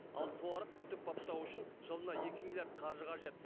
ал суарып күтіп баптау үшін жылына екі миллиард қаржы қажет